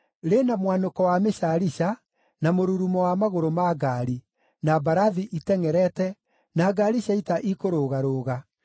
Rĩ na mwanũko wa mĩcaarica, na mũrurumo wa magũrũ ma ngaari, na mbarathi itengʼerete, na ngaari cia ita ikũrũgarũga!